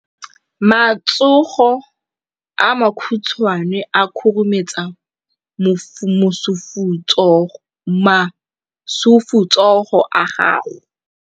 Matsogo a makhutshwane a khurumetsa masufutsogo a gago.